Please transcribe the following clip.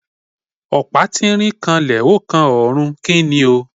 Opa tirín kànlẹ, o kan òrún, ki ní o?